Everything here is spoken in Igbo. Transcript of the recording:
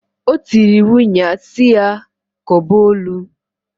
O tiri iwu nnyaa si ya koba ọlụǃ